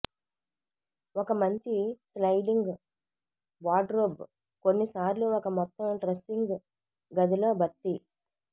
ఒక మంచి sliding wardrobe కొన్నిసార్లు ఒక మొత్తం డ్రెస్సింగ్ గదిలో భర్తీ